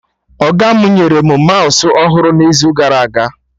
Ọga mụ nyere mụ maụsụ ọhụrụ n'izu gara aga